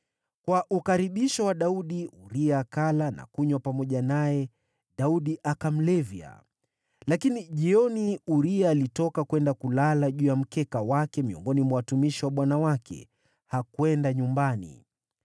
Kwa ukaribisho wa Daudi, Uria akala na kunywa pamoja naye, Daudi akamlevya. Lakini jioni Uria alitoka kwenda kulala juu ya mkeka wake miongoni mwa watumishi wa bwana wake, hakwenda nyumbani.